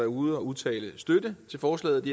ude at udtale støtte til forslaget